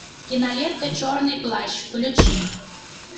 кинолента черный плащ включи